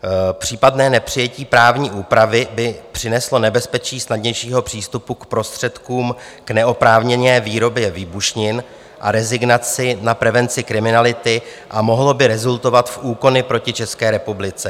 Případné nepřijetí právní úpravy by přineslo nebezpečí snadnějšího přístupu k prostředkům k neoprávněné výrobě výbušnin a rezignaci na prevenci kriminality a mohlo by rezultovat v úkony proti České republice.